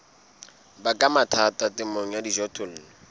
baka mathata temong ya dijothollo